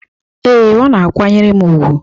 Ee, ọ na-akwanyere m ùgwù